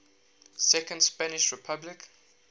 second spanish republic